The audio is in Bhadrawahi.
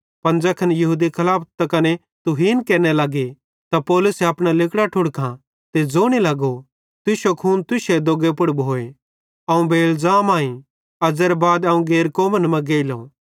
पन ज़ैखन यहूदी खलाफत त कने तुहीन केरने लगे त पौलुसे अपना लिगड़ां ठुड़कां ते ज़ोने लगो तुश्शो खून तुश्शे दोग्गे पुड़ भोए अवं बेइलज़ाम आईं अज़्ज़ेरे बाद अवं गैर कौमन कां गेइलो